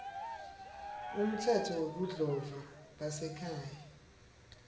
umtsetfo webudlova basekhaya